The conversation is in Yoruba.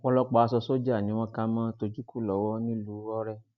ọpọlọpọ aṣọ sójà ni wọn kà mọ tochukwu lọwọ nílùú ọrẹ